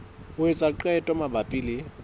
ho etsa qeto mabapi le